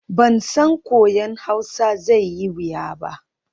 Ban san koyon Hausa zai yi wuya ba.